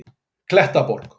Klettaborg